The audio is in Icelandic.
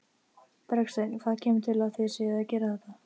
Bergsteinn, hvað kemur til að þið séuð að gera þetta?